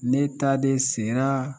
Ne ta de sera